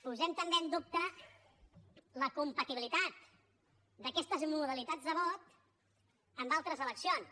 posem també en dubte la compatibilitat d’aquestes modalitats de vot en altres eleccions